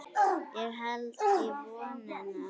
Ég held í vonina.